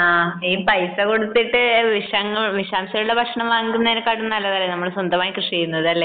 ഈ പൈസ കൊടുത്തിട്ടു വിഷങ്ങൾ വിഷാംശമുള്ള ഭക്ഷണം വാങ്ങി കഴിക്കുന്നതിനേക്കാൾ നല്ലതല്ലേ നമ്മൾ സ്വന്തമായി കൃഷി ചെയ്യുന്നത് അല്ലെ